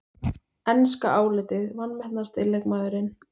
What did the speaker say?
Enska álitið: Vanmetnasti leikmaðurinn?